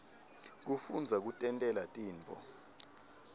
kufundza kutentela tintfo